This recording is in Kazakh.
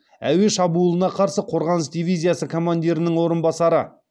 әуе шабуылына қарсы қорғаныс дивизиясы командирінің орынбасары